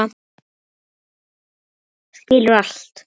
Skilur allt.